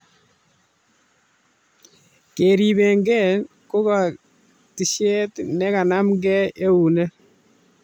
Keribengei kokatishet ne kenameken eunek